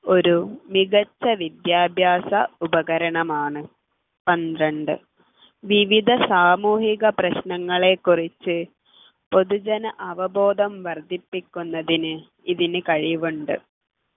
ഒരു മികച്ച വിദ്യാഭ്യാസ ഉപകരണമാണ് പന്ത്രണ്ട് വിവിധ സാമൂഹിക പ്രശ്നങ്ങളെക്കുറിച്ച് പൊതുജന അവബോധം വർദ്ധിപ്പിക്കുന്നതിന് ഇതിന് കഴിവുണ്ട്